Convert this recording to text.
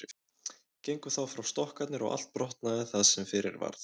Gengu þá frá stokkarnir og allt brotnaði það sem fyrir varð.